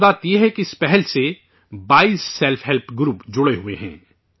خاص بات یہ ہے کہ اس پہل سے 22 سیلف گروپ جڑے ہوئے ہیں